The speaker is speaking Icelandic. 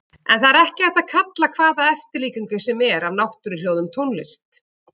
En það er ekki hægt að kalla hvaða eftirlíkingu sem er af náttúruhljóðum tónlist.